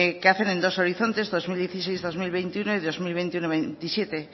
que hacen en dos horizontes dos mil dieciséis dos mil veintiuno y dos mil veintiuno dos mil veintisiete